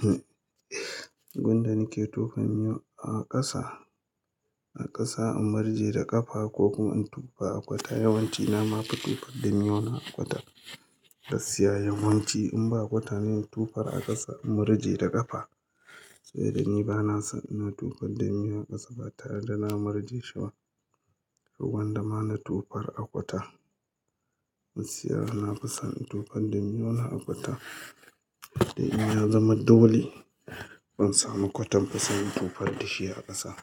Hmm gunda nike tofa miyau a ƙasa, a ƙasa in murje da ƙafa ko kuma in tufar a kwata. Yawanci na ma fi tufar da miyau na a kwata. Gaskiya yawanci in ba kwata ne in tufar a ƙasa in murje da ƙafa. Sai da ni ba na san ina tufar da miyau a ƙasa ba tare da na murje shi ba. Gwanda ma na tufar a kwata. Musiyya na fi son tufar da miyau na a kwata. Dan ya zama dole, ban samu kwatabba se in tofar dashi a ƙasa.